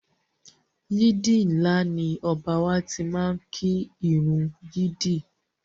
Yídì ńlá ni Ọba wa tí máá ń kí ìrun yídì